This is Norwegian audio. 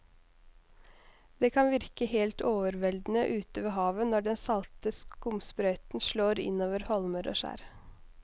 Det kan virke helt overveldende ute ved havet når den salte skumsprøyten slår innover holmer og skjær.